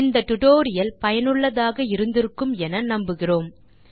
இந்த டுடோரியல் சுவாரசியமாகவும் பயனுள்ளதாகவும் இருந்திருக்கும் என நம்புகிறேன்